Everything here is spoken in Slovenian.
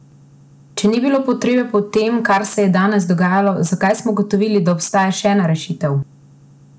Če ni bilo potrebe po tem, kar se je danes dogajalo, zakaj smo ugotovili, da obstaja še ena rešitev?